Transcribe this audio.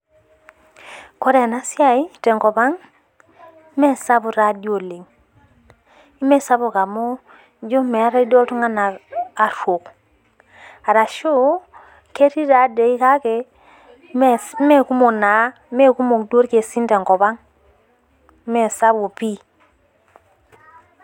More ena siai tenkop ang'. Mee sapuk taadoi oleng'. Mee sapuk amuu ijo neetae duo oltung'ana aruok arashu keetai taadoi kale mee kukok naa mee kukok duo irkesin tenkop ang' mesapuk pii